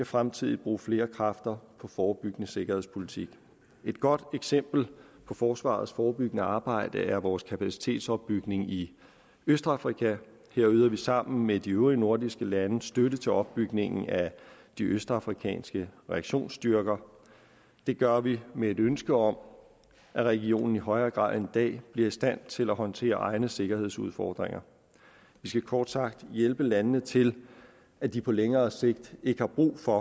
fremtiden bruge flere kræfter på forebyggende sikkerhedspolitik et godt eksempel på forsvarets forebyggende arbejde er vores kapacitetsopbygning i østafrika her yder vi sammen med de øvrige nordiske lande støtte til opbygningen af de østafrikanske reaktionsstyrker det gør vi med et ønske om at regionen i højere grad end dag bliver i stand til at håndtere egne sikkerhedsudfordringer vi skal kort sagt hjælpe landene til at de på længere sigt ikke har brug for